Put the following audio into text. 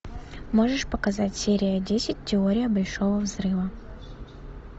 можешь показать серия десять теория большого взрыва